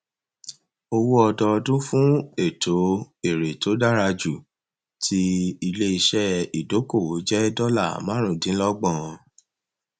owó ọdọọdún fún ètò èrè tó dára jù ti iléiṣẹ ìdókòwò jẹ dọlà márùndínlọgbọn